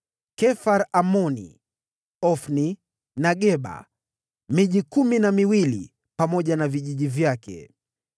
Kefar-Amoni, Ofni, na Geba; miji kumi na miwili pamoja na vijiji vyake.